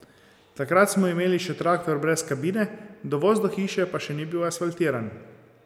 Takrat smo imeli še traktor brez kabine, dovoz do hiše pa še ni bil asfaltiran.